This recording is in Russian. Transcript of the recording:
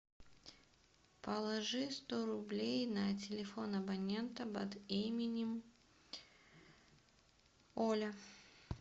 положи сто рублей на телефон абонента под именем оля